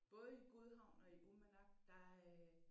Både i Godhavn og i Uummannaq der øh